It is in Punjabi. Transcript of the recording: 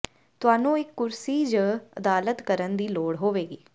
ਤੁਹਾਨੂੰ ਇੱਕ ਕੁਰਸੀ ਜ ਅਦਾਲਤ ਕਰਨ ਦੀ ਲੋੜ ਹੋਵੇਗੀ